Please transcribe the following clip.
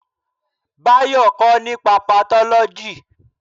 Bayo kọ́ nípa patólóji